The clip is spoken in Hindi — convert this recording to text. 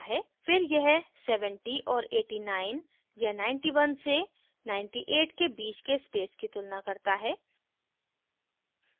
फिर यह 70 और 89 या 91 से 98 के बीच के space की तुलना करता है